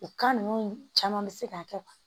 O ninnu caman bɛ se ka kɛ